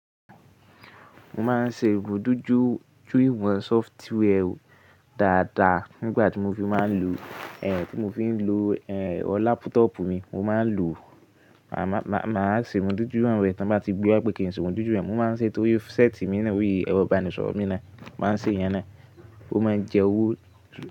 Mo máa ń ṣe ibùdójú jú iwọ́n software o dáadáa nígbà tí mo fi máa ń lo, eh, tí mo fi ń lo, eh, ẹrọ lápútọ́pù mi. Mo máa ń lò, màá, màá, màá ṣe ìbùdójú rẹ̀ tí wọ́n bá ti gbé wípé kì í ṣe ìbùdójú rẹ̀. Mo máa ń ṣe é torí séètì mi na lori èrò ìbánisọ̀rọ̀ mi náà. Mo máa ń ṣe ìyẹn náà. Ó máa ń jẹ owó.